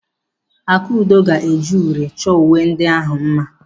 Akudo ga-eji uri chọọ uwe ndị ahụ mma.